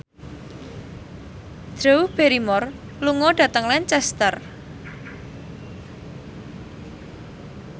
Drew Barrymore lunga dhateng Lancaster